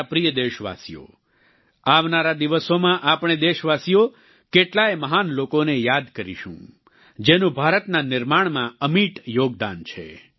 મારા પ્રિય દેશવાસીઓ આવનારા દિવસોમાં આપણે દેશવાસીઓ કેટલાય મહાન લોકોને યાદ કરીશું જેનું ભારતના નિર્માણમા અમિટ યોગદાન છે